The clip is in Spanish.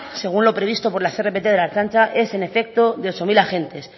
según lo previsto por las rpt de la ertzaintza es en efecto de ocho mil agentes